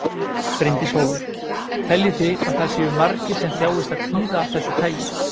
Bryndís Hólm: Teljið þið að það séu margir sem þjáist af kvíða af þessu tagi?